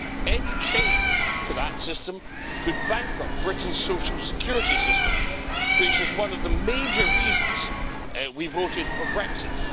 Any change to that system could bankrupt Britain's social security system, which is one of the major reasons we voted for Brexit.